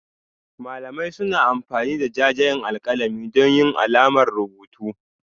Malamai suna amfani da jajayen alƙalami don yin alamar rubutu